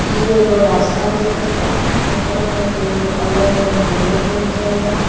ई एगो रास्ता दिखत बा ओकरा में दूगो अलग-अलग रोड निकलल बा.